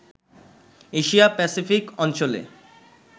Asia Pacific অঞ্চলে